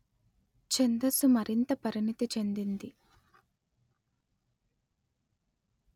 ఛందస్సు మరింత పరిణితి చెందింది